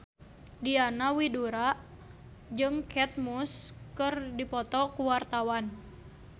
Diana Widoera jeung Kate Moss keur dipoto ku wartawan